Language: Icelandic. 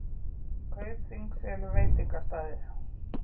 Kaupþing selur veitingastaði